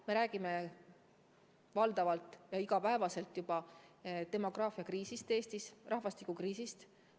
Me räägime juba iga päev demograafiakriisist Eestis, rahvastikukriisist.